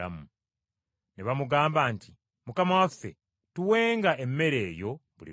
Ne bamugamba nti, “Mukama waffe, tuwenga emmere eyo buli lunaku.”